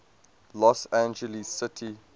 los angeles city